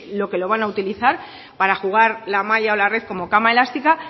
lo que lo van a utilizar para jugar la malla o la red como cama elástica